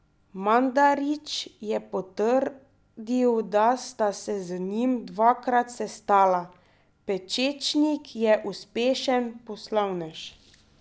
Mandarić je potrdil, da sta se z njim dvakrat sestala: "Pečečnik je uspešen poslovnež.